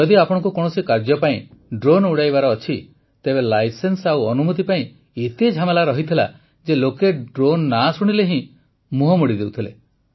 ଯଦି ଆପଣଙ୍କୁ କୌଣସି କାର୍ଯ୍ୟ ପାଇଁ ଡ୍ରୋନ୍ ଉଡ଼ାଇବାର ଅଛି ତେବେ ଲାଇସେନ୍ସ ଓ ଅନୁମତି ପାଇଁ ଏତେ ଝାମେଲା ରହିଥିଲା ଯେ ଲୋକେ ଡ୍ରୋନ୍ ନାଁ ଶୁଣିଲେ ହିଁ ମୁହଁ ମୋଡ଼ି ଦେଉଥିଲେ